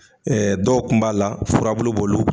dɔw tun b'a la furabulu b'olu